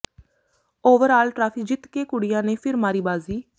over ਆਲ trophy ਜਿੱਤ ਕੇ ਕੁੜੀਆਂ ਨੇ ਫਿਰ ਮਾਰੀ ਬਾਜ਼ੀ